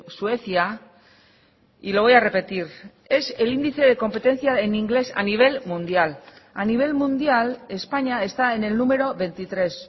suecia y lo voy a repetir es el índice de competencia en inglés a nivel mundial a nivel mundial españa está en el número veintitrés